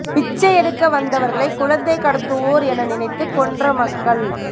பிச்சை எடுக்க வந்தவர்களை குழந்தை கடத்துவோர் என நினைத்து கொன்ற மக்கள்